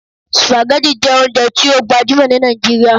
Spaghetti jẹ ounjẹ ti o gbajumọ ni Nigeria